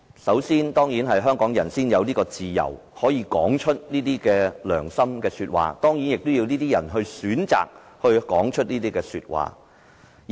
首先，只有香港人才可以自由說出良心說話，而這當然也要有人選擇說出良心說話。